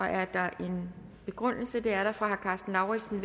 er der en begrundelse det er der fra herre karsten lauritzen